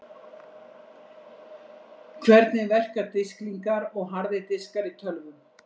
Hvernig verka disklingar og harðir diskar í tölvum?